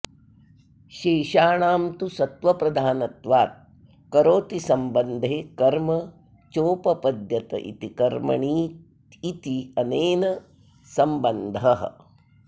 शेषाणां तु सत्त्वप्रधानत्वात् करोतिसम्बन्धे कर्म चोपपद्यत इति कर्मणीत्यनेन सम्बन्धः